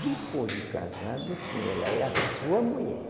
Depois de casado, sim ela é a sua mulher.